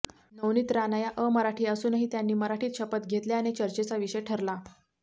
नवनीत राणा या अमराठी असूनही त्यांनी मराठीत शपथ घेतल्याने चर्चेचा विषय ठरला